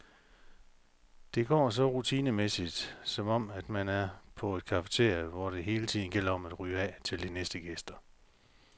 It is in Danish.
Det går så rutinemæssigt, som om man er på et cafeteria, hvor det hele tiden gælder om at rydde af til de næste gæster.